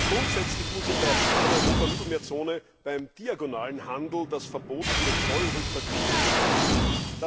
Grundsätzlich muss in der Paneuropa Mittelmeerzone beim diagonalen Handel das Verbot der Zollrückvergütung beachtet werden.